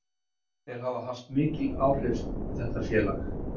Þeir hafa haft mikil áhrif á þetta félag.